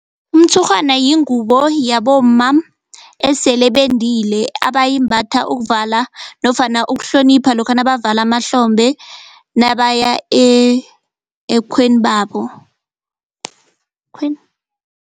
Umtshurhwana yingubo yabomma esele bendile abayimbatha ukuvala nofana ukuhlonipha lokha nabavala amahlombe nabaya ekhwenu babo